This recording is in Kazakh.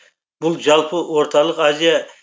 бұл жалпы орталық азия